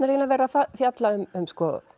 eiginlega verið að fjalla um